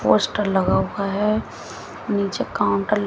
poster लगा हुआ है नीचे काउंटर --